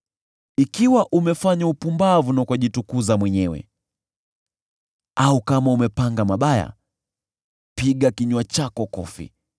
“Ikiwa umefanya upumbavu na ukajitukuza mwenyewe, au kama umepanga mabaya, basi funika mdomo wako na mkono wako.